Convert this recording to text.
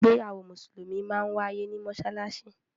Ìgbéyàwó musulumi máa ń waiye ni Mossalassi.